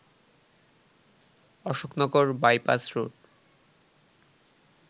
Ashoknagar bypass road